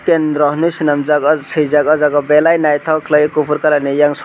kendro henei snamjak swijak belai nytok kwlai fufur colour ni eiang soi.